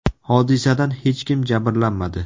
Hodisadan hech kim jabrlanmadi.